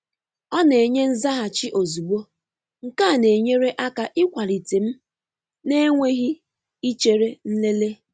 Ọna-enye nzaghachi ozugbo, nke a na-enyere aka ịkwalite m na-enweghị ichere nlele.